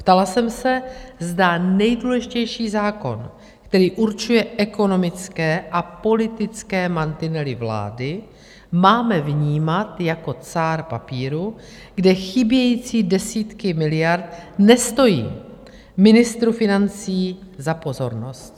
Ptala jsem se, zda nejdůležitější zákon, který určuje ekonomické a politické mantinely vlády, máme vnímat jako cár papíru, kde chybějící desítky miliard nestojí ministru financí za pozornost.